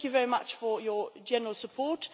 So thank you very much for your general support.